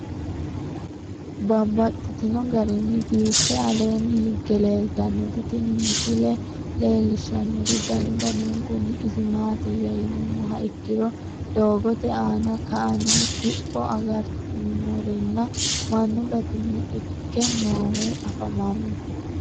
Babaxxittinno garinni biiffe aleenni hige leelittannotti tinni misile lelishshanori danu danunkunni isi maattiya yinummoha ikkiro doogotte aanna ka'anni kipho agaritanorinna mannu batinye ikke noohu affammanno.